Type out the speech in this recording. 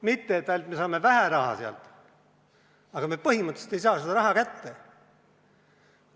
Mitte ainult, et me saame sealt vähe raha, vaid me põhimõtteliselt ei saa seda raha kätte.